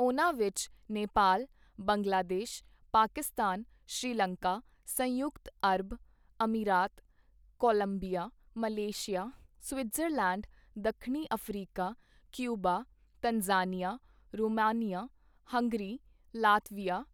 ਉਨ੍ਹਾਂ ਵਿੱਚ ਨੇਪਾਲ, ਬੰਗਲਾਦੇਸ਼, ਪਾਕਿਸਤਾਨ, ਸ੍ਰੀਲੰਕਾ, ਸੰਯੁਕਤ ਅਰਬ, ਅਮੀਰਾਤ, ਕੋਲੰਬੀਆ, ਮਲੇਸ਼ੀਆ, ਸਵਿਟਜ਼ਰਲੈਂਡ, ਦੱਖਣੀ Africa, Cuba, Tanzania, Romania, Hungary, Latvia,